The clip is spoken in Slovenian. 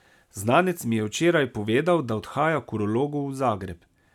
Znanec mi je včeraj povedal, da odhaja k urologu v Zagreb.